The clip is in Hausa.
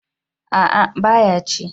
A'a ba ya ci